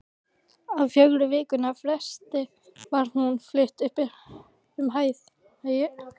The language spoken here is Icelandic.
Á fjögurra vikna fresti var hún flutt upp um hæð.